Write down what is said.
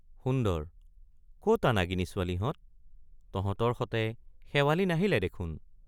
সুন্দৰ—কতা নাগিনী ছোৱালীহঁত তহতৰ সতে শেৱালি নাহিলে দেখোন?